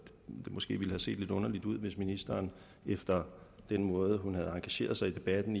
måske ville have set lidt underligt ud hvis ministeren efter den måde hun havde engageret sig i debatten